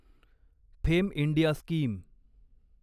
fame India scheme